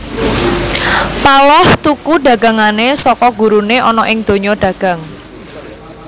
Paloh tuku dagangané saka guruné ana ing donya dagang